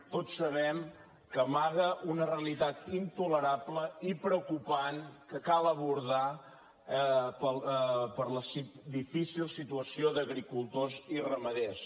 tots sabem que amaga una realitat intolerable i preocupant que cal abordar per la difícil situació d’agricultors i ramaders